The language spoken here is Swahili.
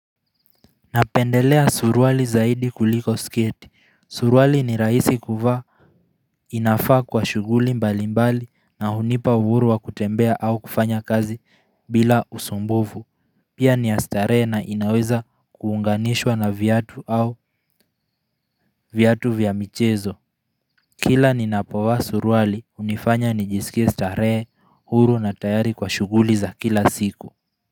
Napendelea suruali zaidi kuliko sketi. Suruali ni rahisi kuvaa ninavaa kwa shughuli mbali mbali na hunipa uhuru wa kutembea au kufanya kazi bila usumbuvu. Pia ni ya starehe na inaweza kuunganishwa na viatu au viatu vya michezo. Kila ninapovaa suruali hunifanya nijiskie starehe, uhuru na tayari kwa shughuli za kila siku.